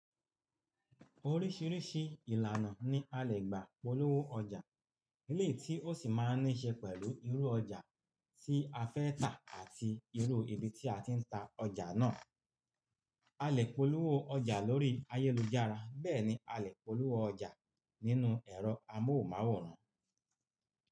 Oríṣiríṣi ìlànà ni a lè gbà polówó ọjà, èléyi tí ó sì máa níí ṣe pẹ̀lú irú ọjà tí a fẹ́ tà àti irú ibi tí a ti ń ta ọjà náà. A lè polówó ọjà lórí ayélujára, bẹ́ẹ̀ ni a lè polówó ọjà nínú ẹ̀rọ amóhùnmáwòrán.